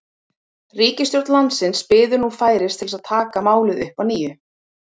Ríkisstjórn landsins bíður nú færis til að taka málið upp að nýju.